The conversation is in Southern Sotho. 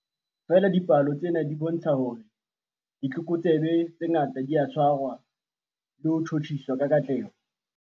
Feela dipalo tsena di bontsha hore ditlokotsebe tse ngata di a tshwarwa le ho tjhutjhiswa ka katleho.